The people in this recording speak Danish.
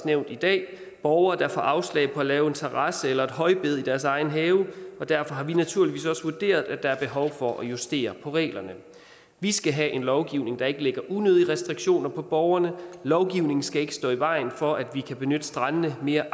nævnt i dag borgere der får afslag på at lave en terrasse eller et højbed i deres egen have derfor har vi naturligvis også vurderet at der er behov for at justere reglerne vi skal have en lovgivning der ikke lægger unødige restriktioner på borgerne lovgivningen skal ikke stå i vejen for at vi kan benytte strandene mere